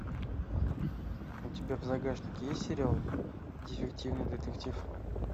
у тебя в загашнике есть сериал дефективный детектив